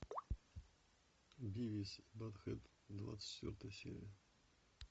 бивис и баттхед двадцать четвертая серия